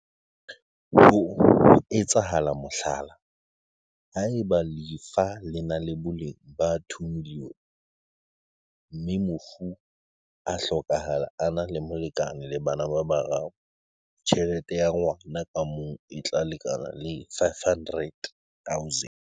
Ho etsa mohlala, haeba lefa le na le boleng ba R2 milione mme mofu a hlokahala a na le molekane le bana ba bararo, tjhelete ya ngwa na ka mong e tla lekana le R500 000.